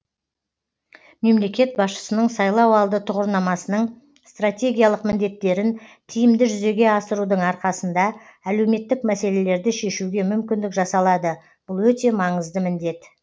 мемлекет басшысының сайлауалды тұғырнамасының стратегиялық міндеттерін тиімді жүзеге асырудың арқасында әлеуметтік мәселелерді шешуге мүмкіндік жасалады бұл өте маңызды міндет